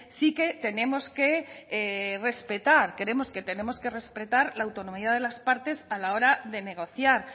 sí que tenemos que respetar creemos que tenemos que respetar la autonomía de las partes a la hora de negociar